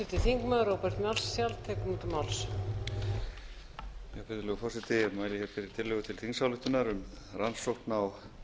virðulegur forseti ég mæli hér fyrir tillögu til þingsályktunar um rannsókn á